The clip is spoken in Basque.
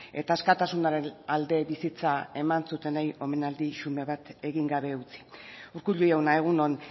eta askatasunaren alde bizitza eman zutenei omenaldi xume bat egin gabe utzi urkullu jauna egun on